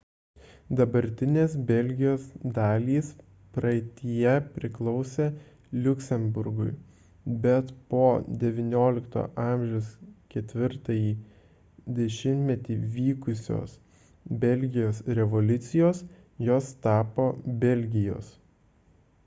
dabartinės belgijos dalys praeityje priklausė liuksemburgui bet po xix a 4-ąjį dešimtmetį vykusios belgijos revoliucijos jos tapo belgijos